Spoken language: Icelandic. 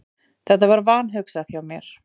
Þetta var vanhugsað hjá mér.